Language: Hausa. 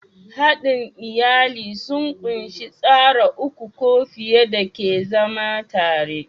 Haɗin iyali sun ƙunshi tsara uku ko fiye da ke zama tare.